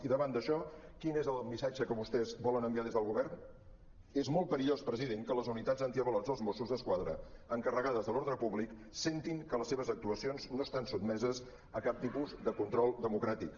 i davant d’això quin és el missatge que vostès volen enviar des del govern és molt perillós president que les unitats antiavalots dels mossos d’esquadra encarregades de l’ordre públic sentin que les seves actuacions no estan sotmeses a cap tipus de control democràtic